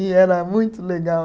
E era muito legal.